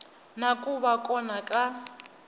na ku va kona ka